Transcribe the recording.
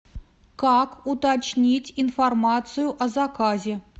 как уточнить информацию о заказе